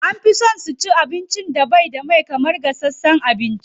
An fi so su ci wanda bai da mai sosai kamar gashasshen abinci.